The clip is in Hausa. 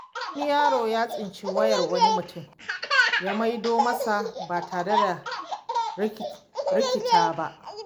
Wani yaro ya tsinci wayar wani mutum ya maido masa ba tare da rikita ba.